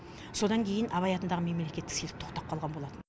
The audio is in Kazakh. содан кейін абай атындағы мемлекеттік сыйлық тоқтап қалған болатын